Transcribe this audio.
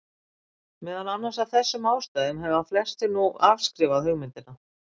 Meðal annars af þessum ástæðum hafa flestir nú afskrifað hugmyndina.